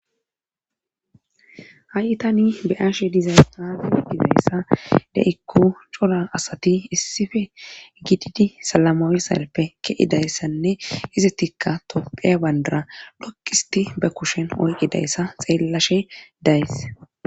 ha7i tani beyashe diza haafi hogidayssa de7ikku cola asati issife gididi salamawisalppe ke7idayssanne izetikka toppheya bandara lokqisti be kushen olqidayssa xeellashe days